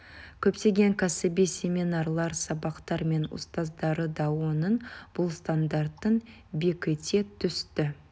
көптеген кәсіби семинарлар сабақтар мен ұстаздары да оның бұл стандартын бекіте түсті